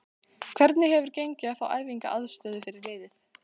Hvernig hefur gengið að fá æfingaaðstöðu fyrir liðið?